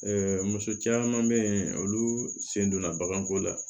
muso caman bɛ yen olu sen donna baganko la